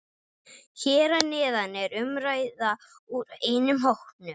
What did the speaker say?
Hér að neðan er umræða úr einum hópnum